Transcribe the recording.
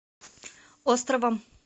островом